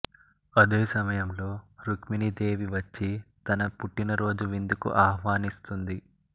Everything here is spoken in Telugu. అదే సమయం లో రుక్మిణీ దేవి వచ్చి తన పుట్టిన రోజు విందుకు ఆహ్వానిస్తుంది